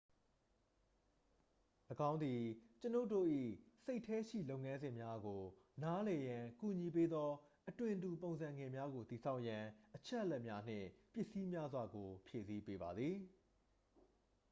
၎င်းသည် ကျွန်ုပ်တို့၏စိတ်ထဲရှိလုပ်ငန်းစဉ်များကိုနားလည်ရန်ကူညီပေးသော အသွင်တူပုံစံငယ်များကိုတည်ဆောက်ရန် အချက်အလက်များနှင့် ပစ္စည်းများစွာကို ဖြည့်ဆည်းပေးပါသည်